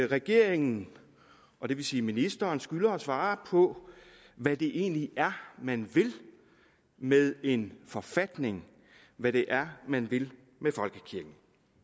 regeringen og det vil sige ministeren skylder at svare på hvad det egentlig er man vil med en forfatning hvad det er man vil med folkekirken